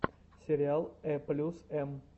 сериал э плюс эм